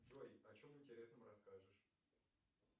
джой о чем интересном расскажешь